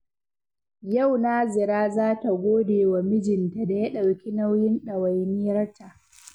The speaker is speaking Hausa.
Yau Nazira za ta gode wa mijinta da ya ɗauki nauyin ɗawainiyarta.